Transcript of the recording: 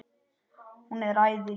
Hún er æði.